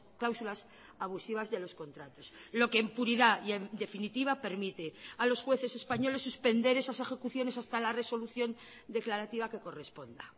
cláusulas abusivas de los contratos lo que en puridad y en definitiva permite a los jueces españoles suspender esas ejecuciones hasta la resolución declarativa que corresponda